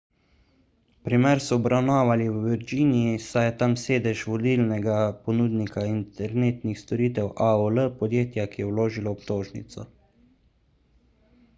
primer so obravnavali v virginiji saj je tam sedež vodilnega ponudnika internetnih storitev aol podjetja ki je vložilo obtožnico